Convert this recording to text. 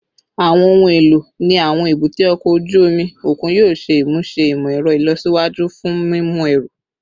Awọn ohun elo ni awọn ebute oko oju omi okun yoo ṣe imuse imọ-ẹrọ ilọsiwaju fun mimu ẹru